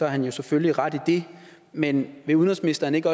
han jo selvfølgelig ret i det men vil udenrigsministeren ikke